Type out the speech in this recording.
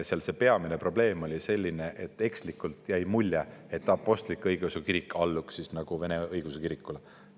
See peamine probleem oli selline, et ekslikult jäänuks mulje, nagu apostlik‑õigeusu kirik alluks Vene Õigeusu Kirikule.